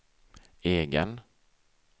egen